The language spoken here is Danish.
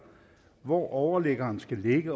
hvor overliggeren skal ligge